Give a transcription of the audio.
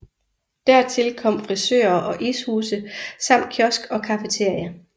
Dertil kom frisører og ishuse samt kiosk og cafeteria